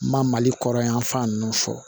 N ma mali kɔrɔ yanfan ninnu fɔ